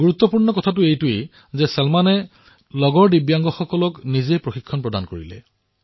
বিশেষ কথা এয়েই যে চলমানে লগৰীয়া দিব্যাংগসকলকো নিজেই প্ৰশিক্ষণ প্ৰদান কৰিলে